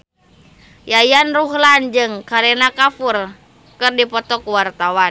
Yayan Ruhlan jeung Kareena Kapoor keur dipoto ku wartawan